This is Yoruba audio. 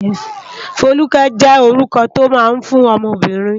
Foluke jé órúkò tó má n fún òmò óbìrín